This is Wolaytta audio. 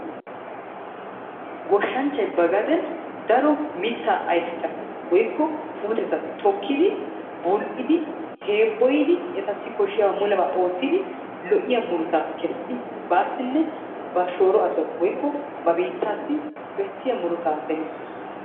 Goshshanchchay ba gaden daro mitaa ayfeta woykko puutetta tokkidi bul'idi heeboyiddi etassi koshiya mulebaa oottidi lo'iya murutaa kessidi baasinne ba shooro asawu woykko ba biittaassi bessiya murutaa demissees.